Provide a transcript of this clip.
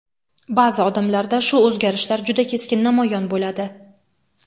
Ba’zi odamlarda shu o‘zgarishlar juda keskin namoyon bo‘ladi.